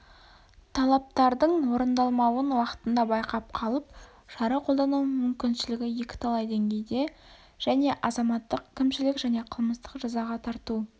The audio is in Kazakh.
талаптардың орындалмауын уақытында байқап қалып шара қолдану мүмкіншілігі екіталай деңгейде және азаматтық кімшілік және қылмыстық жазаға тарту